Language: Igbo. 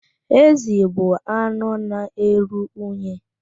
Ezi bụ anụ na-eru unyi.